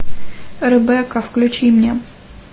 ребекка включи мне